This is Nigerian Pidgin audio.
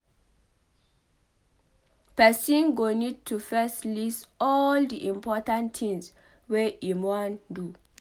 Person go need to first list all di important tins wey im wan do